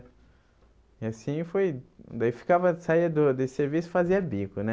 E assim foi... Daí ficava... Saía do desse serviço, fazia bico, né?